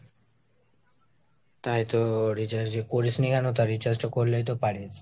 তাই তো recharge করিস নি কেন? তা recharge টা করলেই তো পারিস।